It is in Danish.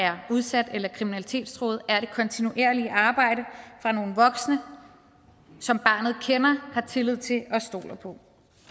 er udsat eller kriminalitetstruet er det kontinuerlige arbejde fra nogle voksne som barnet kender har tillid til og stoler på